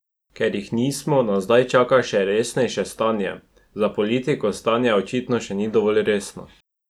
Ker jih nismo, nas zdaj čaka še resnejše stanje: "Za politiko stanje očitno še ni dovolj resno.